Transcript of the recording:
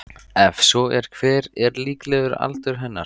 Ef svo er hver er líklegur aldur hennar?